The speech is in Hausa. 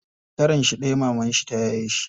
Shekaranshi ɗaya mamanshi ta yaye shi.